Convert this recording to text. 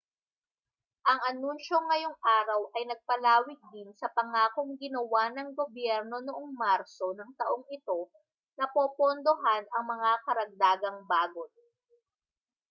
ang anunsiyo ngayong araw ay nagpalawig din sa pangakong ginawa ng gobyerno noong marso ng taong ito na popondohan ang mga karagdagang bagon